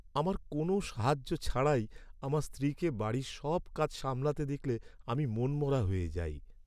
আমার কোনও সাহায্য ছাড়াই আমার স্ত্রীকে বাড়ির সব কাজ সামলাতে দেখলে আমি মনমরা হয়ে যাই।